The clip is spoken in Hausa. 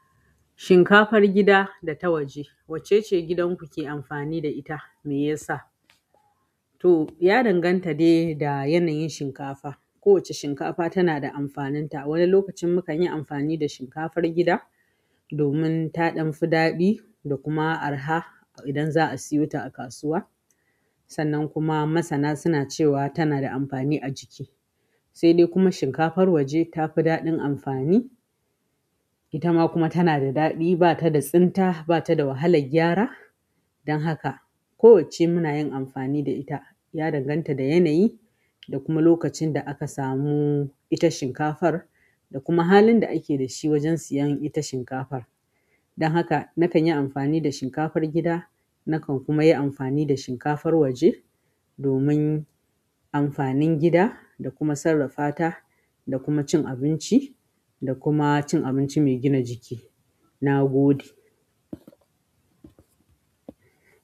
Shinkafar gida da ta waje wacce ce gidan ku ke amfani da ita? Meyasa? To, ya danganta da yanayin shinkafa. Kowacce shinkafa tana da amfaninta. Wani lokacin mukan yi amfani da shinkafar gida domin ta ɗan fi daɗi da kuma arha idan za a siyo ta a kasuwa. Sannan kuma masana suna cewa tana da amfani a jiki. Sai dai kuma shinkafar waje ta fi daɗin amfani. Ita ma kuma tana da daɗi, ba ta da tsinta, ba ta da wahalar gyara. Don haka, kowacce muna yin amfani da ita, ya danganta da yanayi da kuma lokacin da aka samu ita shinkafar, da kuma halin da ake da shi wajen siyan ita shinkafar. Don haka, na kan yi amfani da shinkafar gida, na kan kuma yi amfani da shinkafar waje domin amfanin gida da kuma sarrafata da kuma cin abinci da kuma cin abinci mai gina jiki. Na gode.